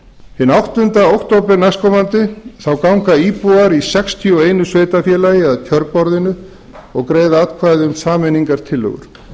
hinn áttunda október næstkomandi ganga íbúar sextíu og eins sveitarfélags að kjörborðinu og greiða atkvæði um sameiningartillögur